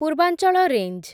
ପୂର୍ବାଞ୍ଚଳ ରେଞ୍ଜ୍